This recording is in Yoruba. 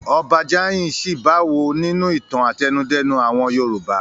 Ọba Jáayin ṣí bá wò nínú ìtàn àtẹnudẹ́nu àwọn Yorùbá.